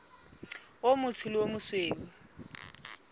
o motsho le o mosweu